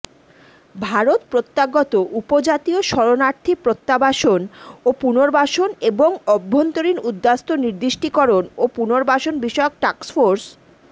ভারত প্রত্যাগত উপজাতীয় শরনার্থী প্রত্যাবাসন ও পুর্নবাসন এবং অভ্যন্তরীন উদ্বাস্তু নির্দিষ্টকরণ ও পুর্নবাসন বিষয়ক টাস্কফোর্স